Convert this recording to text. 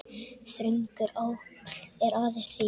Þröngur áll er aðeins þíður.